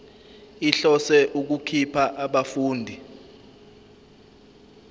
ihlose ukukhipha abafundi